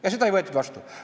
Ja seda ei võetud vastu.